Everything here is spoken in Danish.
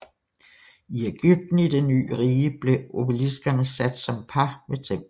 I Egypten i Det Ny Rige blev obeliskerne sat som par ved templerne